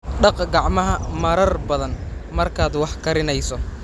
Dhaq gacmahaaga marar badan markaad wax karinayso.